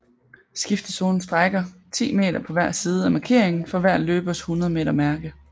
Skiftezonen strækker 10 m på hver side af markeringen for hver løbers 100 m mærke